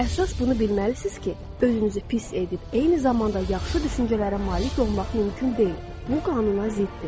Əsas bunu bilməlisiniz ki, özünüzü pis edib eyni zamanda yaxşı düşüncələrə malik olmaq mümkün deyil, bu qanuna ziddir.